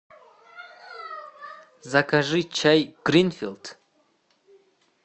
закажи чай гринфилд